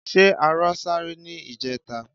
Ṣé arọ sáré ní ìjẹta?